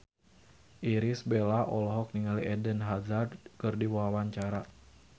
Irish Bella olohok ningali Eden Hazard keur diwawancara